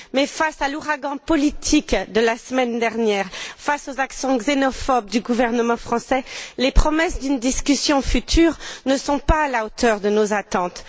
Mais, face à l'ouragan politique de la semaine dernière, face aux accents xénophobes du gouvernement français, les promesses d'une discussion future ne sont pas à la hauteur de nos attentes.